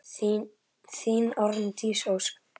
Þín Arndís Ósk.